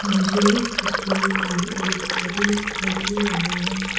मुझे इस तस्वीर पर एक गाड़ी दिखाई दे रहा है।